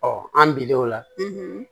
an bilaw la